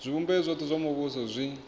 zwivhumbeo zwothe zwa muvhuso zwi